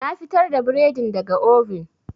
Na fitar da bredin daga oven.